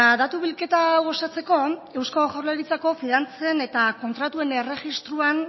datu bilketa hau osatzeko eusko jaurlaritzako finantzen eta kontratuen erregistroan